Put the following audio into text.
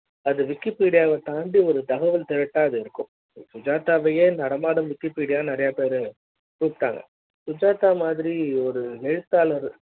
அதுல வந்து கேள்விகளுக்கும் அதுக்கு சுஜாதா அளித்த பதில்களும் பாத்தீங்கன்னாஅது wikipedia தாண்டி ஒரு தகவல் திரட்டா இருக்கும் சுஜாதா வையே நடமாடும் wikipedia நிறையா பேரு கூப்பிட்டாங்க சுஜாதா மாதிரி ஒரு எழுத்தாளர்